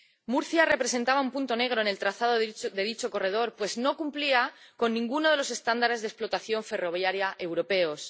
Murcia representaba un punto negro en el trazado de dicho corredor, pues no cumplía ninguno de los estándares de explotación ferroviaria europeos.